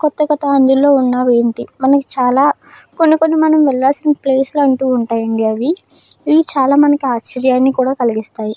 కొత్త కొత్త అందులో ఉన్నయి ఏంటి. మనకు చాలా కొన్ని కొన్ని మనం వెళ్లాల్సిన ప్లేస్ లో అంటూ ఉంటాయండి అవి. ఇవి చాలా మందికి ఆశ్చర్యాన్ని కూడా కలిగిస్తాయి.